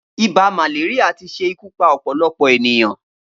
Ibà màléríà ti ṣé ikù pà ọpọlọpọ éniyàn